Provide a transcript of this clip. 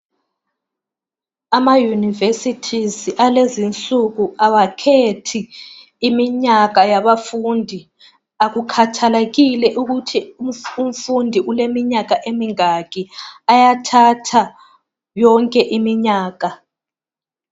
Ama-unuversities akulezi insuku kawakhethi iminyaka yomfundi. Kakukhathalekile ukuthi umfundi uleminyaka emingaki. Bayathatha yonke iminyaka.